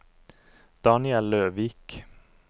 Daniel Løvik